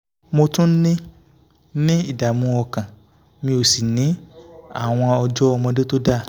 mo tún ní ní ìdààmú ọkàn mi ò sì ní àwọn ọjọ́ ọmọdé tó dáa